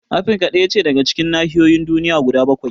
Afrika ɗaya ce daga cikin nahiyoyin duniya guda bakwai